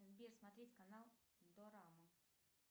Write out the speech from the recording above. сбер смотреть канал дорама